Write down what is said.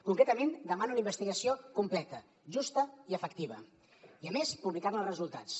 concretament demana una investigació completa justa i efectiva i a més publicar ne els resultats